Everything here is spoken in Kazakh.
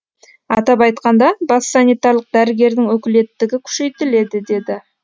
атап айтқанда бас санитарлық дәрігердің өкілеттігі күшейтіледі деді